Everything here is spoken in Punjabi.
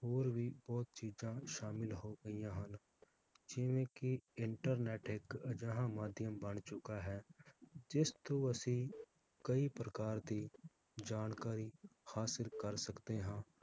ਹੋਰ ਵੀ ਬਹੁਤ ਚੀਜਾਂ ਸ਼ਾਮਿਲ ਹੋ ਗਈਆਂ ਹਨ ਜਿਵੇ ਕਿ internet ਇਕ ਅਜਿਹਾ ਮਾਧਿਅਮ ਬਣ ਚੁਕਾ ਹੈ ਜਿਸ ਤੋਂ ਅਸੀਂ ਕਈ ਪ੍ਰਕਾਰ ਦੀ ਜਾਣਕਾਰੀ ਹਾਸਿਲ ਕਰ ਸਕਦੇ ਹਾਂ